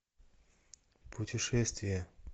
путешествия